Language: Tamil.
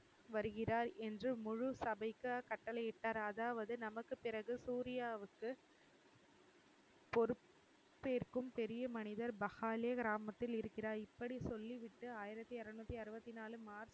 வருகிறார் என்று முழுசபைக்கு கட்டளையிட்டார் அதாவது நமக்கு பிறகு சூர்யாவுக்கு பொறுப்பேற்கும் பெரிய மனிதர் பஹாலே கிராமத்தில் இருக்கிறார் இப்படி சொல்லிவிட்டு ஆயிரத்தி அறுநூத்தி அறுபத்தி நாலு மார்ச்